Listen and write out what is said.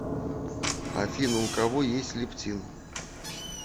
афина у кого есть лептин